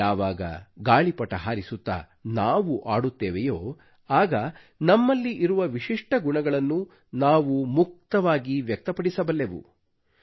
ಯಾವಾಗ ಗಾಳಿಪಟ ಹಾರಿಸುತ್ತಾ ನಾವು ಆಡುತ್ತೇವೆಯೋ ಆಗ ನಮ್ಮಲ್ಲಿ ಇರುವ ವಿಶಿಷ್ಠ ಗುಣಗಳನ್ನು ನಾವು ಮುಕ್ತವಾಗಿ ವ್ಯಕ್ತಪಡಿಸಬಲ್ಲೆವು